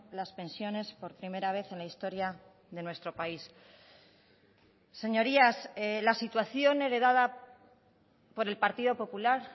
las pensiones por primera vez en la historia de nuestro país señorías la situación heredada por el partido popular